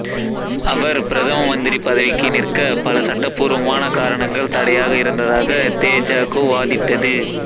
அவர் பிரதம மந்திரி பதவிக்கு நிற்க பல சட்டப்பூர்வமான காரணங்கள் தடையாக இருந்ததாக தேஜகூ வாதிட்டது